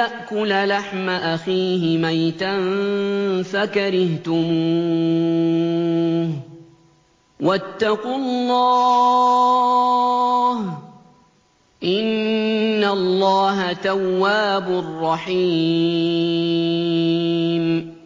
يَأْكُلَ لَحْمَ أَخِيهِ مَيْتًا فَكَرِهْتُمُوهُ ۚ وَاتَّقُوا اللَّهَ ۚ إِنَّ اللَّهَ تَوَّابٌ رَّحِيمٌ